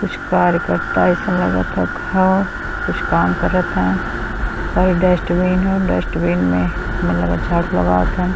कुछ कार्यकर्त्ता अइसन लगत ह । कुछ काम करत हैं। साय डस्टबिन ह डस्टबिन में हमे लग झाडू लागाव हैन।